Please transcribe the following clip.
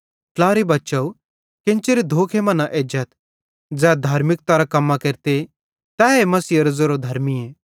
ट्लारे बच्चव केन्चेरे धोखे मां न एजाथ ज़ै धार्मिकारां कम्मां केरते तैए मसीहेरो ज़ेरो धर्मीए